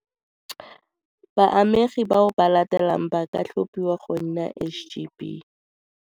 Baamegi bao ba latelang ba ka tlhophiwa go nna SGB.